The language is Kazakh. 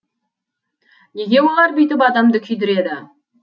неге олар бүйтіп адамды күйдіреді